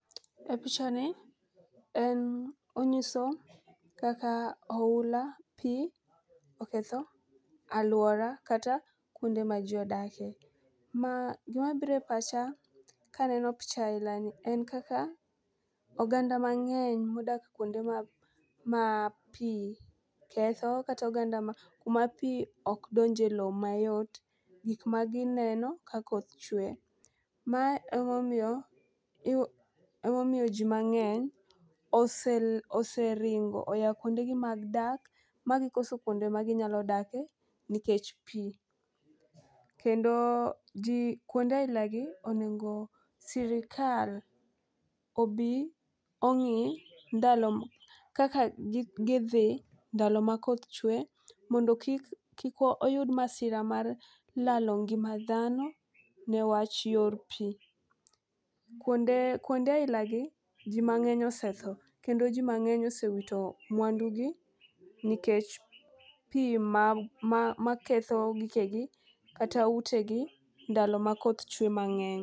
E picha ni en onyiso kaka oula pii oketho aluora kata kuonde ma jii odake. Ma gima bire pacha kaneno picha aila ni en kaka oganda mang'eny modak kuonde ma ma pii ketho kata oganda ma kuma pii ok donje lowo mayot, gik magineno ka koth chwe. Mae emomiyo emomiyo jii mang'eny ose oseringo oya kuonde gi mag dak magi koso kuonde ma ginyalo dake nikech pii. Kendo jii kuonde aila gi onego sirikal obi ong'i ndalo kaka gi gidhi ndalo ma koth chwe mondo kik kik oyud masira mar lalo ngima dhano newach yor pii. Kuonde kuonde aila gi jii mang'eny osetho kendo jii mang'eny osewito ngima gi nikech pii ma ma ma ketho gikegi kata utegi ndalo ma koth chwe mang'eny.